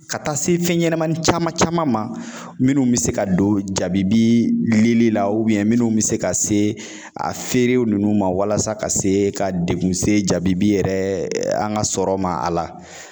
Ka taa se fɛnɲɛnamani caman caman ma minnu be se ka don jabibi lili la minnu mi se ka se a feere ninnu ma walasa ka se ka degun se jabibi yɛrɛ an ka sɔrɔ ma a la